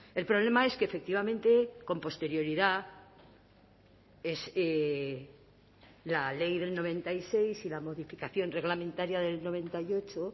el problema es que efectivamente con posterioridad la ley del noventa y seis y la modificación reglamentaria del noventa y ocho